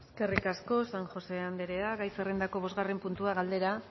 eskerrik asko san josé anderea gai zerrendako bosgarren puntua galdera